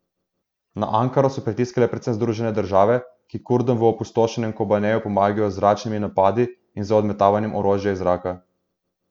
Na Ankaro so pritiskale predvsem Združene države, ki Kurdom v opustošenem Kobaneju pomagajo z zračnimi napadi in z odmetavanjem orožja iz zraka.